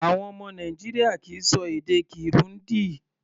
Àwọn ọmọ Nàìjíríà kì í ṣọ èdè Kirundi.